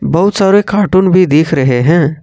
बहुत सारे कार्टून भी दिख रहे है।